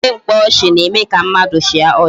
Ejije mkpaọchị na-eme ka mmadụ chịa ọchị